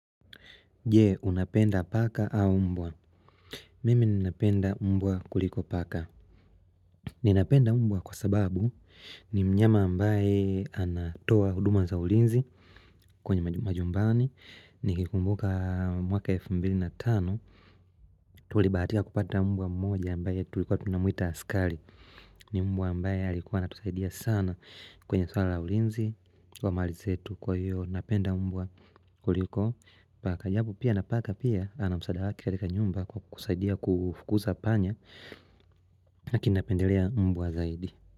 Je unapenda paka au mbwa Mimi ninapenda mbwa kuliko paka Ninapenda mbwa kwa sababu ni mnyama ambaye anatoa huduma za ulinzi kwenye majumbani nikikumbuka mwaka elfu mbili na tano tulibahatika kupata mbwa mmoja ambaye tulikuwa tunamuita askari ni mbwa ambaye alikuwa anatusaidia sana kwenye swala ya ulinzi Kwa mali zetu kwa hiyo napenda mbwa kuliko paka japo pia na paka pia ana msaada yake katika nyumba kwa kusaidia kufukuza panya na kinapendelea mbwa zaidi.